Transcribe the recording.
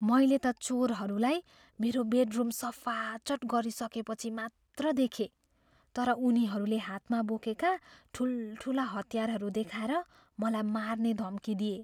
मैले त चोरहरूलाई मेरो बेडरुम सफाचट गरिसकेपछि मात्र देखेँ, तर उनीहरूले हातमा बोकेका ठुल्ठुला हतियारहरू देखाएर मलाई मार्ने धम्की दिए।